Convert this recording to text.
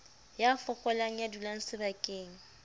ya fokolang ya dulang sebakeng